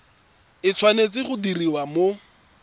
e tshwanetse go diriwa mo